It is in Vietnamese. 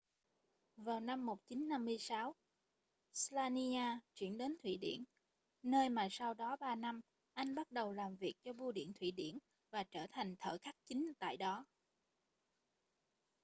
vào năm 1956 slania chuyển đến thụy điển nơi mà sau đó ba năm anh bắt đầu làm việc cho bưu điện thụy điển và trở thành thợ khắc chính tại đó